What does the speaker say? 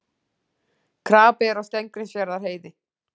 Krapi er á Steingrímsfjarðarheiði